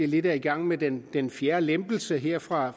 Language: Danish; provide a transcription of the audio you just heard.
lidt i gang med den den fjerde lempelse her fra